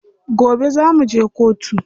Gobe za muje kotu.